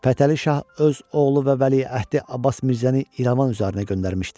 Fətəli Şah öz oğlu və vəliəhdi Abbas Mirzəni İrəvan üzərinə göndərmişdi.